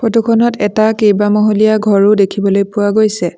Photo খনত এটা কেইবামহলীয়া ঘৰো দেখিবলৈ পোৱা গৈছে।